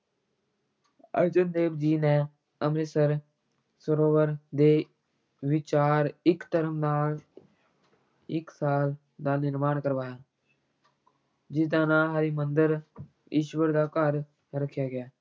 ਅਰਜਨ ਦੇਵ ਜੀ ਨੇ ਅੰਮ੍ਰਿਤਸਰ ਸਰੋਵਰ ਦੇ ਵਿਚਾਰ ਇੱਕ ਧਰਮ ਨਾਲ ਇੱਕ ਸਾਲ ਦਾ ਨਿਰਮਾਣ ਕਰਵਾਇਆ ਜਿਸ ਦਾ ਨਾਂ ਹਰਿਮੰਦਰ ਈਸ਼ਵਰ ਦਾ ਘਰ ਰੱਖਿਆ ਗਿਆ।